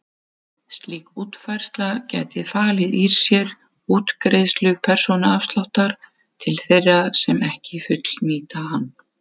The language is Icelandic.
Slík útfærsla gæti falið í sér útgreiðslu persónuafsláttar til þeirra sem ekki fullnýta hann.